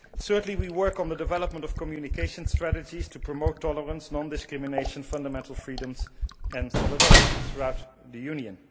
Certainly we work on the development of communication strategies to promote tolerance, non discrimination, fundamental freedoms and solidarity throughout the Union.